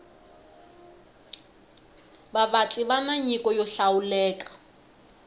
vavatli vani nyiko yo hlawuleka